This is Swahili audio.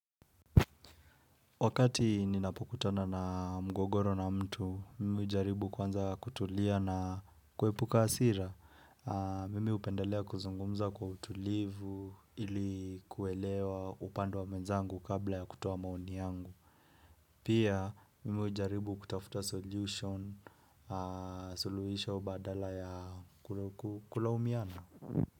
Wakati ninapokutana na mgogoro na mtu, mimi hujaribu kwanza kutulia na kuepuka hasira. Mimi hupendelea kuzungumza kwa utulivu ili kuelewa upande wa mwenzangu kabla ya kutoa maoni yangu. Pia, mimi hujaribu kutafuta solution, suluhisha badala ya kulaumiana.